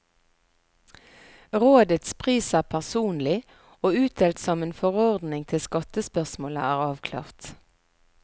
Rådets pris er personlig, og utdelt som en forordning til skattespørsmålet er avklart.